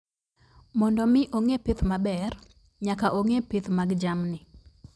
Mondo mi ong'e pith maber, nyaka ong'e pith mag jamni.